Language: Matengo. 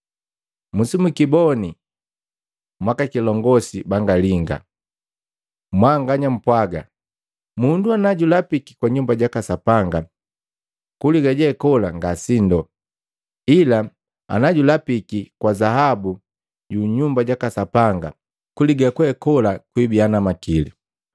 “Musimukiboni mwaka kilongosi banga linga! Mwanganya mpwaaga, ‘Mundu najulapiki kwa Nyumba jaka Sapanga, kuliga jee kola nga sindu, ila najulapiki kwa zahabu yu Nyumba jaka Sapanga kuliga kwekola kwiibiya na makili.’